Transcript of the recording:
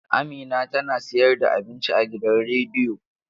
Amina tana sayar da abinci a gidan rediyo.